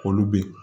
Olu be yen